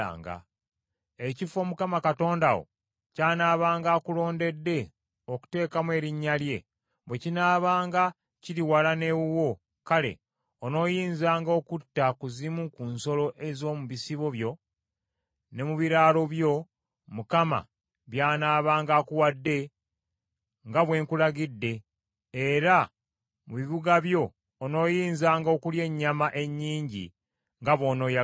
Ekifo, Mukama Katonda wo ky’anaabanga akulondedde okuteekamu Erinnya lye, bwe kinaabanga kiri wala n’ewuwo kale onooyinzanga okutta ku zimu ku nsolo ez’omu bisibo byo ne mu biraalo byo Mukama by’anaabanga akuwadde, nga bwe nkulagidde; era mu bibuga byo onooyinzanga okulya ennyama ennyingi nga bw’onooyagalanga.